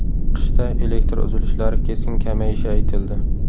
Qishda elektr uzilishlari keskin kamayishi aytildi.